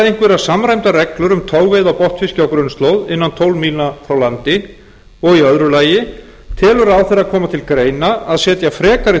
einhverjar samræmdar reglur um togveiði á botnfiski á grunnslóð innan tólf mílna frá landi annars telur ráðherra koma til greina að setja frekari